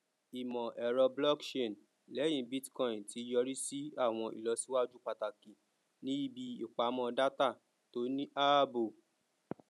ìmọ ẹrọ blockchain lẹhìn bitcoin ti yọrí sí àwọn ìlọsíwájú pàtàkì ní ibi ìpamọ data tó ní ààbò